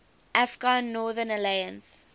afghan northern alliance